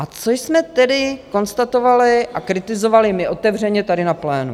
A co jsme tedy konstatovali a kritizovali my otevřeně tady na plénu?